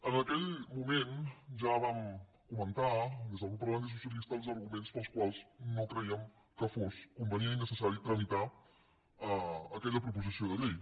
en aquell moment ja vam comentar des del grup parlamentari socialista els arguments pels quals no crèiem que fos convenient i necessari tramitar aquella proposició de llei